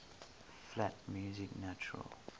flat music natural